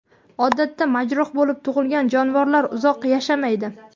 Odatda majruh bo‘lib tug‘ilgan jonivorlar uzoq yashamaydi.